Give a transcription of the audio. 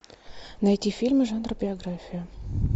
найти фильмы жанра биография